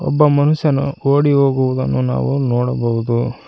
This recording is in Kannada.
ಒಬ್ಬ ಮನುಷ್ಯನು ಓಡಿ ಹೋಗುವುದನ್ನು ನಾವು ನೋಡಬಹುದು.